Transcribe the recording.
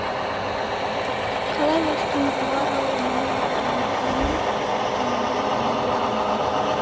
қалай өстім ұғар ау миы бар жан діңім тіп тік төменге иіле алман